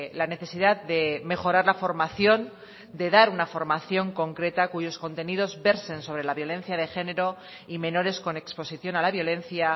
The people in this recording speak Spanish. la necesidad de mejorar la formación de dar una formación concreta cuyos contenidos verso sobre la violencia de género y menores con exposición a la violencia